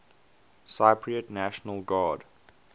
cypriot national guard